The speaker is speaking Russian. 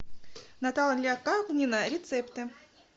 наталья калнина рецепты